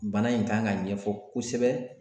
Bana in kan ka ɲɛfɔ kosɛbɛ